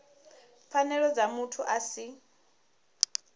pfanelo dza muthu a si